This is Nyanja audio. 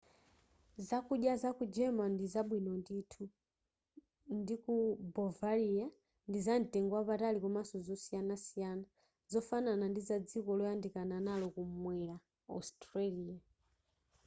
zakudya zaku germany ndi zabwino ndithu ndi ku bovaria ndizamtengo wapatali komanso zosiyanasiyana zofanana ndi za dziko loyandikana nalo kumwera austria